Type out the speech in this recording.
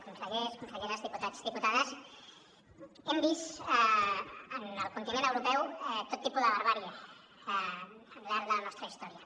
consellers conselleres diputats i diputades hem vist en el continent europeu tot tipus de barbàrie al llarg de la nostra història